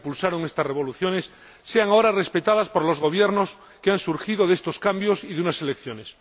que impulsaron estas revoluciones sean ahora respetadas por los gobiernos que han surgido de estos cambios y de unas elecciones.